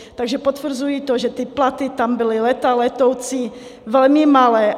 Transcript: Takže potvrzuji to, že ty platy tam byly léta letoucí velmi malé.